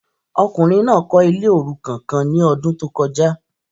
Ọkùnrin náà kọ ilé orukan kàn ní ọdun to kọjá